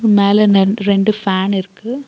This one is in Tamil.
மேல நன் ரெண்டு ஃபேன் இருக்கு.